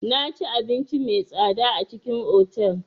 Naci abinci mai tsada a cikin otal.